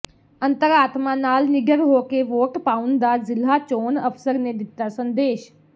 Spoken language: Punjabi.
ਅੰਤਰ ਆਤਮਾ ਨਾਲ ਨਿਡਰ ਹੋ ਕੇ ਵੋਟ ਪਾਉਂਣ ਦਾ ਜ਼ਿਲ੍ਹਾ ਚੋਣ ਅਫ਼ਸਰ ਨੇ ਦਿੱਤਾ ਸੰਦੇਸ਼